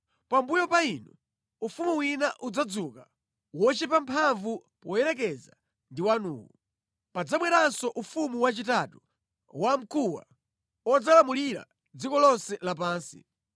“Pambuyo pa inu, ufumu wina udzadzuka, wochepa mphamvu poyerekeza ndi wanuwu. Padzabweranso ufumu wachitatu, wamkuwa, udzalamulira dziko lonse lapansi.